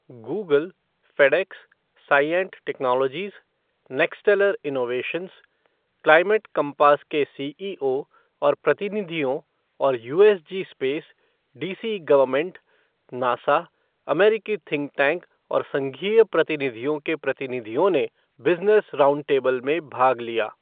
Google, FedEx, Cyient technologies, नैक्स्टलर innovations, climate compass के CEO और प्रतिनिधियों और USG space, DC government, NASA, अमेरिकी थिंक टैंक और संघीय प्रतिनिधियों के प्रतिनिधियों ने बिज़नेस राउंडटेबल में भाग लिया।